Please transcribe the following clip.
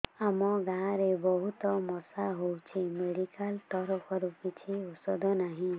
ଆମ ଗାଁ ରେ ବହୁତ ମଶା ହଉଚି ମେଡିକାଲ ତରଫରୁ କିଛି ଔଷଧ ନାହିଁ